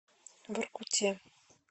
воркуте